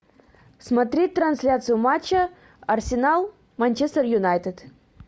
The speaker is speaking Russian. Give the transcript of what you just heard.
смотреть трансляцию матча арсенал манчестер юнайтед